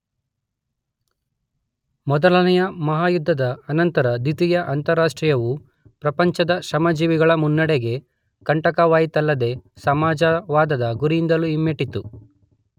ಮೊದಲನೆಯ ಮಹಾಯುದ್ಧದ ಅನಂತರ ದ್ವಿತೀಯ ಅಂತಾರಾಷ್ಟ್ರೀಯವು ಪ್ರಪಂಚದ ಶ್ರಮಜೀವಿಗಳ ಮುನ್ನಡೆಗೆ ಕಂಟಕವಾಯಿತಲ್ಲದೆ ಸಮಾಜವಾದದ ಗುರಿಯಿಂದಲೂ ಹಿಮ್ಮೆಟ್ಟಿತು.